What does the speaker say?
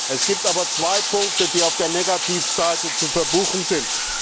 Es gibt aber zwei Punkte, die auf der Negativseite zu verbuchen sind.